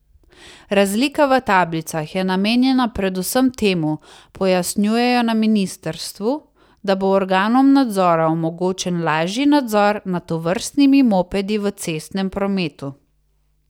Razlika v tablicah je namenjena predvsem temu, pojasnjujejo na ministrstvu, da bo organom nadzora omogočen lažji nadzor nad tovrstnimi mopedi v cestnem prometu.